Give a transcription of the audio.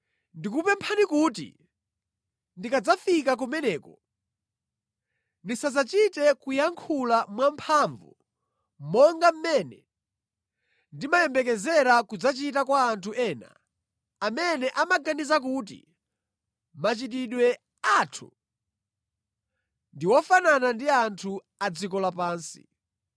Ndikukupemphani kuti ndikadzafika kumeneko ndisadzachite kuyankhula mwamphamvu monga mmene ndimayembekezera kudzachita kwa anthu ena amene amaganiza kuti machitidwe athu ndi ofanana ndi anthu a dziko lapansi.